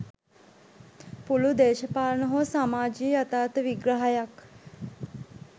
පුළුල් දේශපාලන හෝ සමාජීය යථාර්ථ විග්‍රහයක්